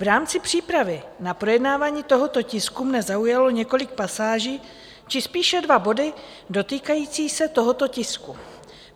V rámci přípravy na projednávání tohoto tisku mě zaujalo několik pasáží, či spíše dva body dotýkající se tohoto tisku.